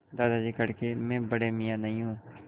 दादाजी कड़के मैं बड़े मियाँ नहीं हूँ